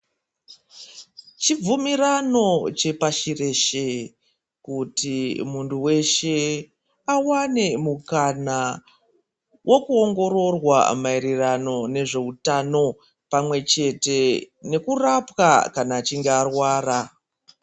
Chibvumirano chepashi reshe kuti muntu weshe awane mukana wekuongororwa maererano nezvehutano pamwechete nekurapwa jana achinge arwara.